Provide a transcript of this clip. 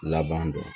Laban dɔn